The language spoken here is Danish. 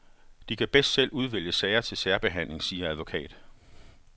De kan bedst selv udvælge sager til særbehandling, siger advokat.